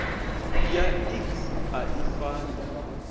ya iks a i fani